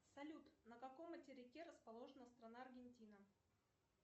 салют на каком материке расположена страна аргентина